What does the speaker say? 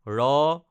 ৰ